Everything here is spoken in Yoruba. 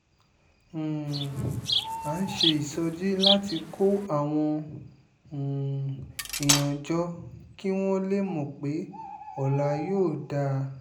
um à ń ṣe ìsọjí láti kó àwọn um èèyàn jọ kí wọ́n lè mọ̀ pé ọ̀la yóò dáa